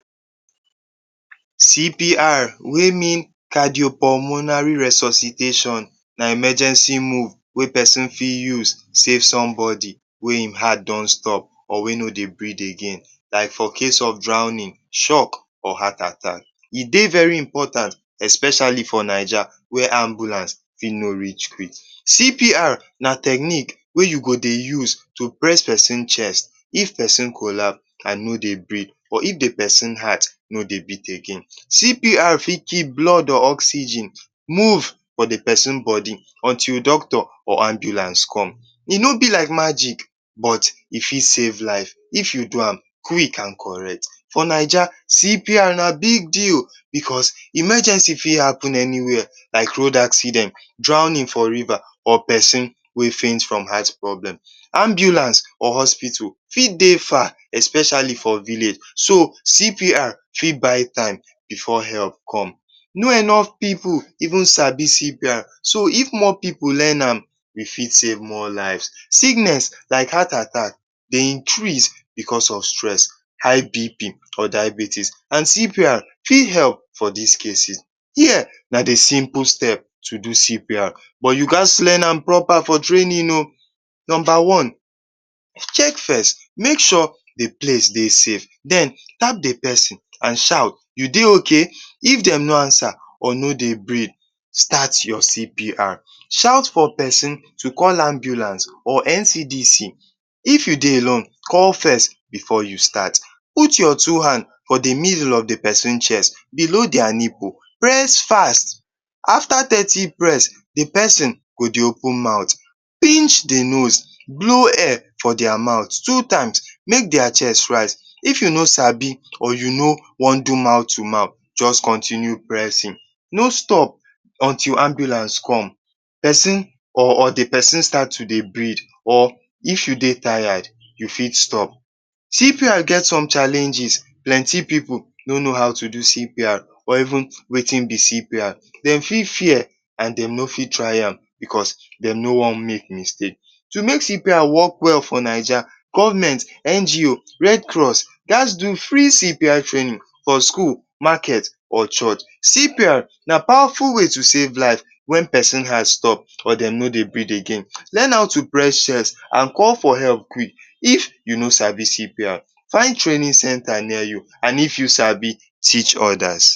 CPR wey mean cardio pulmonary resositation na emergency move wey pesin fit use to safe somebodi wey im heart don stop or wey no dey brit again. Like for case of drownin, shock, or heart attack. E dey very important especiali for Naija wey ambulance fit no reach quick. CPR na technics wey you go dey use dey press pesin heart if pesin collapse and no dey brit or if pesin heart no dey beat again. CPR fit keep blood or oxygen move for the pesin bodi until doctor or ambulance come. E no be like magic but e fit safe life if you do am quick and correct. CPR na big deal because emergency fit happen anywhere like road accident, drownin every where or pesin wey fent from eyes problem. Ambulance or hospital fit dey far especiali from village. CPR fit buy time before enough help come, no enof pipu even sabi CPR so if more pipu learn am, we fit safe more life, so sickness like heart attack dey increase because of stress, high BP or diabetes. And CPR fit help for dis cases. Here na the simple step to do CPR but you ghas to learn am propa for trainin o. Nomba one, make sure the place dey safe, den tap the pesin and shout, you dey ok? If dem no ansa or no dey brit, start your CPR, shout for pesin to call ambulance or NCDC, if you dey alone, call first before you start. Put your two hand for the middle of the pesin chest below dia nipu, press fast afta thirty press, the pesin go dey open mouth. Pinch the nose, blow air for dia mouth, make dia chest raise. If you no sabi, or you no wan do moth to mouth, just continue pressin. No stop until ambulance come or the pesin start to dey brit or if you dey tired, you fit stop. CPR get challenges, plenty pipu no no how to do CPR or even wetin be CPR, dem fit fear and dem no wan try am because dem no wan make mistake. To make CPR work for Naija, government, NGO, red cross ghas do free CPR trainin for skul, maket or church. Na pawaful way to save life or pesin life stop, or de no dey brit again. Learn how to press chest and call for help quick if you no sabi CPR, find trainin centre near you and if you sabi, teach odas.